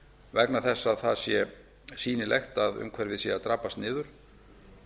vegna þess að það sé sýnilegt að umhverfið sé að drabbast niður